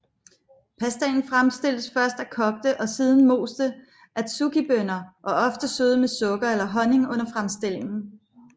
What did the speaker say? Pastaen fremstilles af først kogte og siden moste adzukibønner og ofte sødet med sukker eller honning under fremstillingen